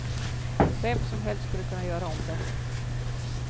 Vem som helst skulle kunna göra om det.